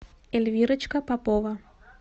эльвирочка попова